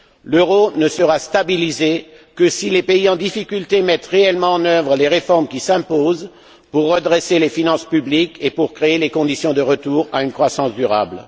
L'euro ne sera stabilisé que si les pays en difficulté mettent réellement en œuvre les réformes qui s'imposent pour redresser les finances publiques et pour créer les conditions d'un retour à une croissance durable.